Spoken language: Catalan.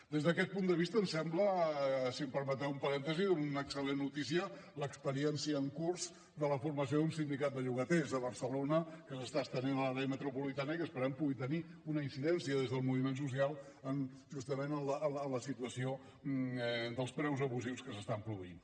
des d’aquest punt de vista em sembla si em permeteu un parèntesi una excel·lent notícia l’experiència en curs de la formació d’un sindicat de llogaters a barcelona que s’està estenent a l’àrea metropolitana i que esperem que pugui tenir una incidència des del moviment social justament en la situació dels preus abusius que s’estan produint